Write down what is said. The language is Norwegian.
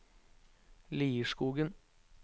Lierskogen